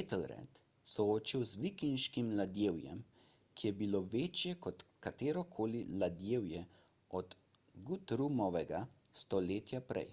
ethelred soočil z vikinškim ladjevjem ki je bilo večje kot katerokoli ladjevje od guthrumovega stoletje prej